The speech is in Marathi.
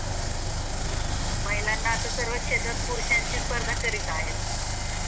महिलांना आता सर्वच क्षेत्रात पुरुषांची स्पर्धा करत आहे.